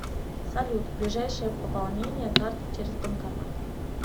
салют ближайшее пополнение карты через банкомат